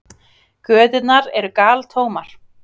Göturnar eru galtómar.